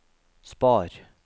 spar